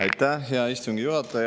Aitäh, hea istungi juhataja!